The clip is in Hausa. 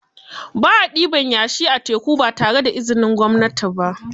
Ba a ɗiban yashi a teku ba tare da izinin gwamnati ba